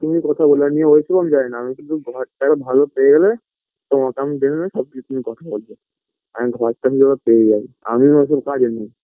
তুমি কথা বলে নিও ওইসব আমি জানিনা আমি শুধু ঘরটা একবার ভালো পেয়ে গেলে তোমাকে আমি বেরালে সব কিছুই কথা বলবো আমি ঘরটা কিভাবে পেয়ে যাই আমি নতুন কাজে নেই